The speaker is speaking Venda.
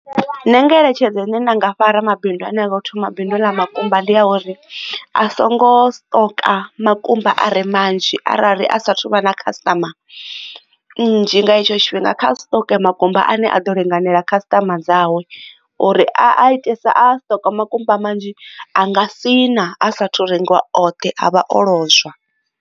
Nṋe ngeletshedzo ine nda nga fha ramabidu ane anga thoma bindu ḽa makumba ndi ya uri a songo siṱoka makumba are manzhi arali a sathu vha na khasiṱama nnzhi nga hetsho tshifhinga kha stock makumba a ne a ḓo linganela khasitama dzawe uri a itesa a siṱoka makumba manzhi a nga sina a sathu rengiwa oṱhe a vha o lozwa.